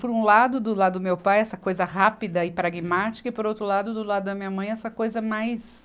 Por um lado, do lado do meu pai, essa coisa rápida e pragmática, e por outro lado, do lado da minha mãe, essa coisa mais